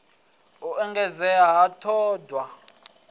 u engedzea ha t hod